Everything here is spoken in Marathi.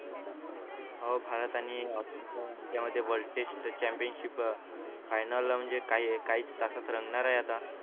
हो भारत आणि ऑस्ट्रेलिया जेव्हा ते world test championship final म्हणजे काही काहीच तासात रंगणार आहे आता